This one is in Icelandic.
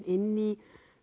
inn í